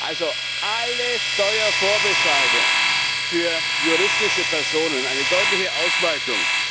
Also alle Steuervorbescheide für juristische Personen, eine deutliche Ausweitung!